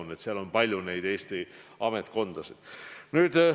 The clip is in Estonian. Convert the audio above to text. Nii et seal on palju Eesti ametkondasid taga.